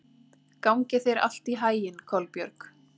Gangi þér allt í haginn, Kolbjörg.